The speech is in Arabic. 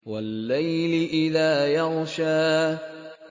وَاللَّيْلِ إِذَا يَغْشَىٰ